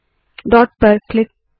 dot पर click करे